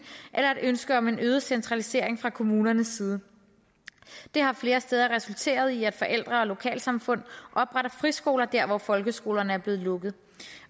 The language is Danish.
eller et ønske om en øget centralisering fra kommunernes side det har flere steder resulteret i at forældre og lokalsamfund opretter friskoler der hvor folkeskolerne er blevet lukket